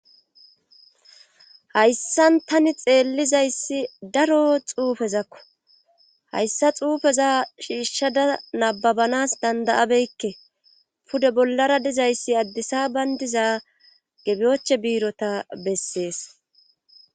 hayssan tani xeellizayssi daro xuufezakko hayssa xuufeza shiishshada nababanas dandayabeykke pude bollara dizayssi addisa bayndiza gebiyoche biirota bessees